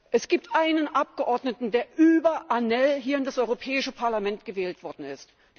Es gibt einen Abgeordneten, der über ANEL hier ins Europäische Parlament gewählt worden ist.